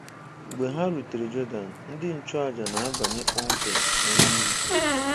Mgbe ha rutere Jọdan, ndị nchụàjà na-abanye kpọmkwem na mmiri.